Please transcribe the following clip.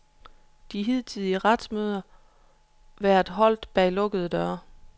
De hidtidige retsmøder været holdt bag lukkede døre.